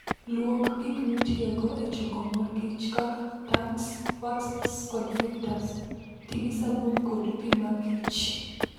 Luok gik mitiyogo e choko mor kich kaka, tanks, waxes, kod filters. Ti gi sabun kod pi makichr.